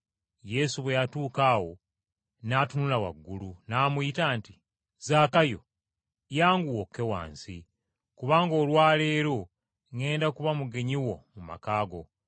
Yesu bwe yatuuka awo n’atunula waggulu, n’amuyita nti, “Zaakayo! Yanguwa okke wansi! Kubanga olwa leero ŋŋenda kuba mugenyi wo mu maka go.”